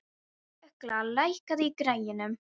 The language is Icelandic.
Ugla, lækkaðu í græjunum.